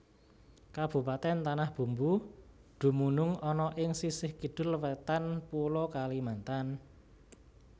Kabupatèn Tanah Bumbu dumunung ana ing sisih Kidul Wétan Pulo Kalimantan